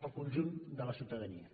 al conjunt de la ciutadania